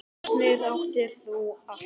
Lausnir áttir þú alltaf.